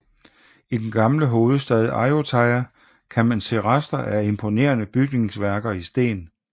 I den gamle hovedstad Ayutthaya kan man se rester af imponerende bygningsværker i sten